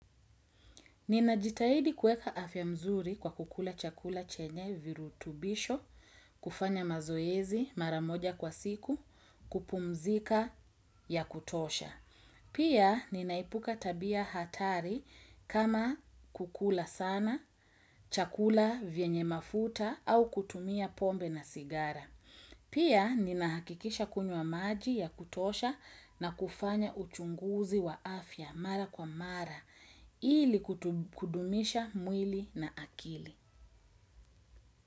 Ninajitahidi kuweka afya mzuri kwa kukula chakula chenye virutubisho, kufanya mazoezi mara moja kwa siku, kupumzika ya kutosha. Pia, ninaepuka tabia hatari kama kukula sana, chakula vyenye mafuta au kutumia pombe na sigara. Pia ninahakikisha kunywa maji ya kutosha na kufanya uchunguzi wa afya mara kwa mara ili kudumisha mwili na akili.